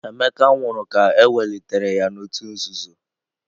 Emeka nwụrụ ka ewelitere ya n'òtù nzuzo.